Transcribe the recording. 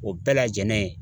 O bɛɛ lajɛlen